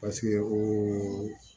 Paseke o